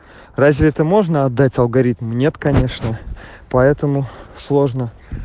разве это можно отдать алгоритм нет конечно поэтому сложно